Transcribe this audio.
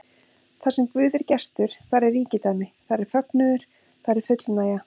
Þarsem Guð er gestur, þar er ríkidæmi, þar er fögnuður, þar er fullnægja.